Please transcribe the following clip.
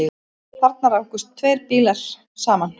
Þarna rákust saman tveir bílar